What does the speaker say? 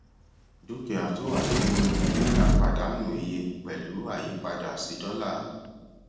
dúkìá tó wà nínú náírà pàdánù iye pẹlú àyípadà sí dọlà